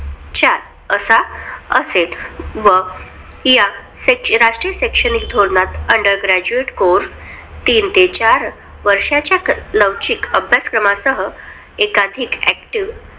चार असा असेल. व या शैक्षणिक राष्ट्रीय शैक्षणिक धोरणात under graduate course तीन ते चार वर्षाच्या लवचिक अभ्याक्रम सह असेल. एकाधिक active